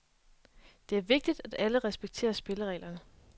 Det er vigtigt, at alle respekterer spillereglerne.